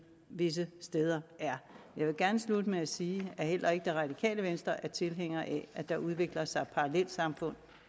visse steder er jeg vil gerne slutte med at sige at heller ikke det radikale venstre er tilhænger af at der udvikler sig parallelsamfund